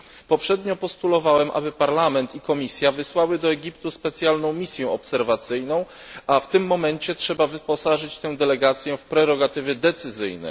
Poprzednio postulowałem, aby Parlament i Komisja wysłały do Egiptu specjalną misję obserwacyjną, a w tym momencie trzeba wyposażyć tę delegację w prerogatywy decyzyjne.